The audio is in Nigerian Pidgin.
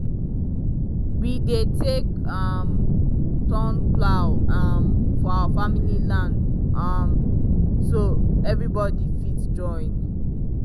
we dey take um turn plow um for our family land um so everybody fit join.